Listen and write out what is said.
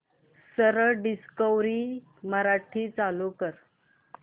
सरळ डिस्कवरी मराठी चालू कर